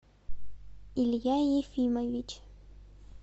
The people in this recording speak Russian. илья ефимович